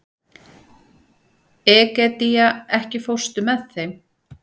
Egedía, ekki fórstu með þeim?